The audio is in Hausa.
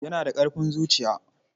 Yana da ƙarfin zuciya matuƙa.